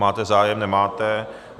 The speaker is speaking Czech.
Máte zájem, nemáte.